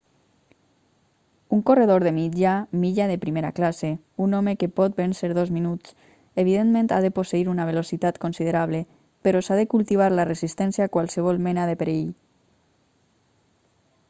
un corredor de mitja milla de primera classe un home que pot vèncer dos minuts evidentment ha de posseir una velocitat considerable però s'ha de cultivar la resistència a qualsevol mena de perill